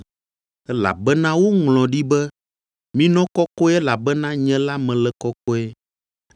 elabena woŋlɔ ɖi be, “Minɔ kɔkɔe elabena nye la mele kɔkɔe.”